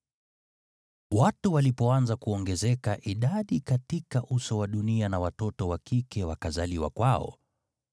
Watu walipoanza kuongezeka idadi katika uso wa dunia na watoto wa kike wakazaliwa kwao,